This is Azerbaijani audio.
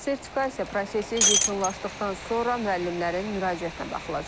Sertifikasiya prosesi yekunlaşdıqdan sonra müəllimlərin müraciətinə baxılacaq.